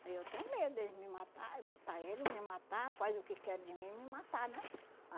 Aí eu tenho medo deles me matar, matar ele, me matar, faz o que quer de mim, me matar, né?